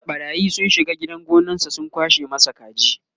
jiya ɓarayi sun shiga gidan gonansa sun kwashe masa kaji